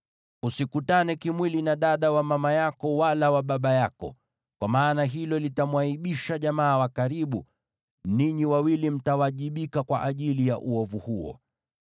“ ‘Usikutane kimwili na dada wa mama yako wala wa baba yako, kwa maana hilo litamwaibisha jamaa wa karibu; ninyi wawili mtawajibika kwa ajili ya uovu huo.